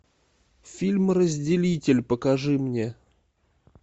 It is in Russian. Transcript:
фильм разделитель покажи мне